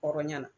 Hɔrɔnya la